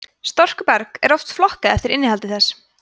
storkuberg er oft flokkað eftir innihaldi þess